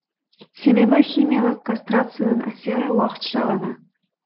себебі химиялық кастрацияның әсері уақытша ғана